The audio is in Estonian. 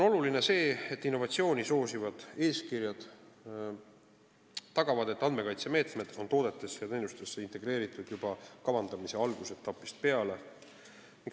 Oluline on see, et innovatsiooni soosivad eeskirjad tagavad, et andmekaitsemeetmed on toodetesse ja teenustesse integreeritud juba kavandamise algusetapist peale.